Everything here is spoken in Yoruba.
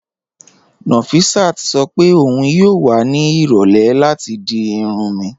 Nọfisát sọ pé ọun yóò wà ní irọ̀lẹ̀ láti di irùn mí